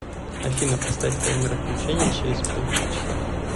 афина поставь таймер отключения через полчаса